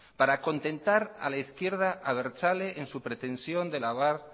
para contentar a la izquierda abertzale en su pretensión de lavar